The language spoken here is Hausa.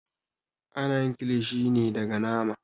Ana yin kilishi ne daga nama.